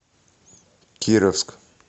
кировск